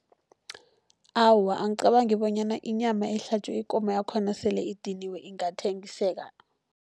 Awa, angicabangi bonyana inyama ehlatjwa ikomo yakhona sele idiniwe ingathengiseka.